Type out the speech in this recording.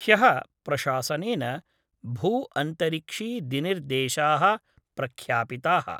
ह्यः प्रशासनेन भूअन्तरिक्षीदिनिर्देशा: प्रख्यापिता:।